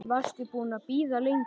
Varstu búin að bíða lengi?